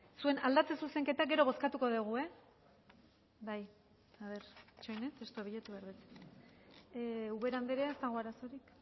zuen aldatze zuzenketa gero bozkatuko dugu bai itxoin testua bilatu behar dut ubera andrea ez dago arazorik